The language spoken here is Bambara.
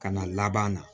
Ka na laban na